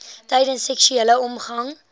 tydens seksuele omgang